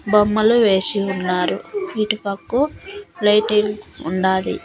బొమ్మలు వేసి ఉన్నారు ఇటుపక్కో లైటింగ్ ఉండాది.